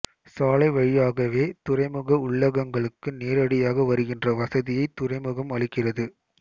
சாலை வழியாகவே துறைமுக உள்ளகங்களுக்கு நேரடியாக வருகின்ற வசதியை துறைமுகம் அளிக்கிறது